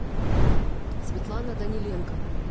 светлана даниленко